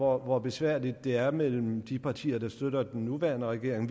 hvor besværligt det er mellem de partier der støtter den nuværende regering